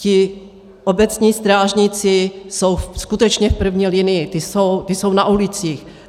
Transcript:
Ti obecní strážníci jsou skutečně v první linii, kdy jsou na ulicích.